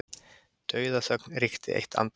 Dauðaþögn ríkti eitt andartak.